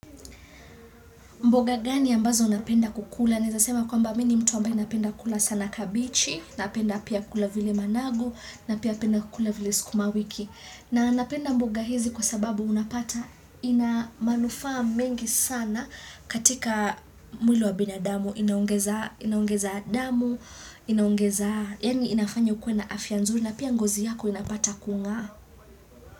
Mboga gani ambazo unapenda kukula? Naeza sema kwamba mini mtu ambayo inapenda kukula sana kabichi, napenda pia kukula vile managu, na pia napenda pia kukula vile skumawiki. Na napenda mboga hizi kwa sababu unapata ina manufaa mengi sana katika mwili wa binadamu inaongezaa inaongeza damu, inaongezaa Yani inafanya ukuwe na afia nzuri na pia ngozi yako inapata kungaa.